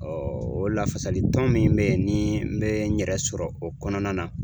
o lafasali tɔn min be ye ni n bɛ n yɛrɛ sɔrɔ o kɔnɔna na